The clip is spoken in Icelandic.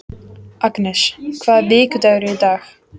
Agnes, hvaða vikudagur er í dag?